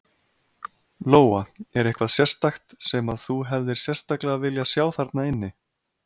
Lóa: Er eitthvað sérstakt sem að þú hefðir sérstaklega viljað sjá þarna inni?